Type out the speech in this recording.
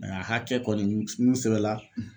Mɛ a hakɛ kɔni min minnu sɛbɛnna